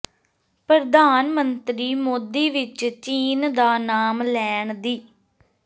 ਪ੍ਰਧਾਨ ਮੰਤਰੀ ਮੋਦੀ ਵਿਚ ਚੀਨ ਦਾ ਨਾਮ ਲੈਣ ਦੀ